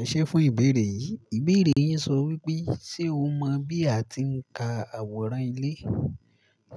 Ẹ ṣé fún ìbéèrè yìí. Ìbéèrè yín sọ wípé, ṣe o mọ bí a ti ń ka àwòrán ilé?